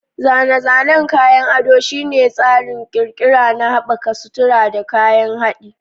Zane-zanen kayan ado shine tsarin ƙirƙira na haɓaka sutura da kayan haɗi.